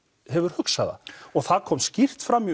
hefur hugsað það og það kom skýrt fram